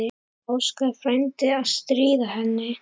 Óskar frændi að stríða henni.